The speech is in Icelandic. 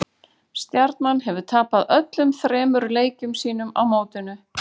Stjarnan hefur tapað öllum þremur leikjum sínum á mótinu.